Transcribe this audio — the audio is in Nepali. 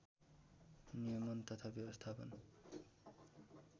नियमन तथा व्यवस्थापन